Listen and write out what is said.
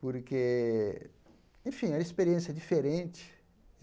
Porque, enfim, era uma experiência diferente.